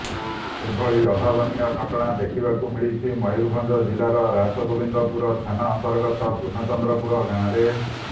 ଏଭଳି ଅଭାବନୀୟ ଘଟଣା ଦେଖିବାକୁ ମିଳିଛି ମୟୂରଭଞ୍ଜ ଜିଲ୍ଲାର ରାସଗୋବିନ୍ଦପୁର ଥାନା ଅନ୍ତର୍ଗତ ପୂର୍ଣ୍ଣଚନ୍ଦ୍ରପୁର ଗାଁରେ